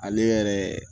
Ale yɛrɛ